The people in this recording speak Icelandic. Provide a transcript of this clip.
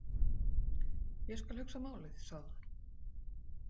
Ég skal hugsa málið, sagði hún.